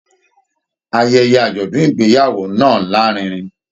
Ayẹyẹ ajọdun ìgbéyàwó náà larinrin.